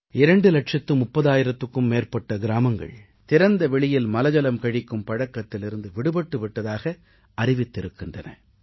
2 லட்சம் 30000த்திற்கும் மேற்பட்ட கிராமங்கள் திறந்தவெளியில் மலஜலம் கழிக்கும் பழக்கத்திலிருந்து விடுபட்டு விட்டதாக அறிவித்திருக்கின்றன